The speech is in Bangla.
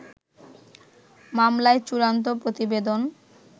মামলায় চূড়ান্ত প্রতিবেদন